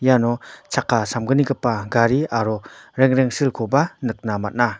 iano chakka samgnigipa gari aro rengrengsilkoba nikna man·a.